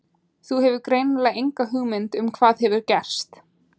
Þú hefur greinilega enga hugmynd um hvað hefur gerst.